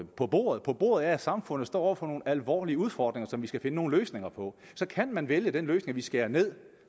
på bordet på bordet ligger det at samfundet står over for nogle alvorlige udfordringer som vi skal finde nogle løsninger på så kan man vælge den løsning at vi skærer ned